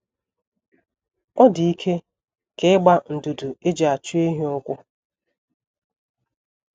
ọ dị ike ka ị gbaa ndụdụ e ji achụ ehi ụkwụ. ”